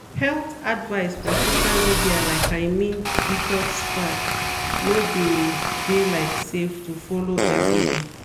health advice for social media like i mean detox fads no de de like save to follow every dey.